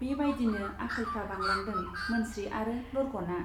बे बाइदिनो आख'लफ्रा बांलांदों मोनस्रि आरो लरग'ना।